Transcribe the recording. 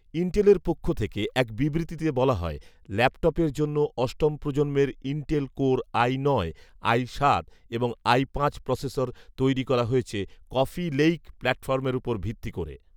ইনটেলের পক্ষ থেকে এক বিবৃতিতে বলা হয়, ল্যাপটপের জন্য অষ্টম প্রজন্মের ইনটেল কোর আই নয়, আই সাত এবং আই পাঁচ প্রসেসর তৈরি করা হয়েছে ‘কফি লেইক’ প্লাটফর্মের ওপর ভিত্তি করে